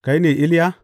Kai ne Iliya?